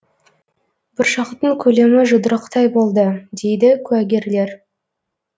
бұршақтың көлемі жұдырықтай болды дейді куәгерлер